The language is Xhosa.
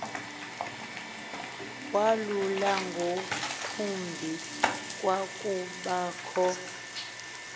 walulo ngakumbi kwakubakho